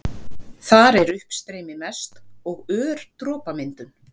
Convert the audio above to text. Þar er uppstreymi mest og ör dropamyndun.